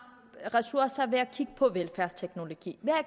ressourcer ved at kigge på velfærdsteknologi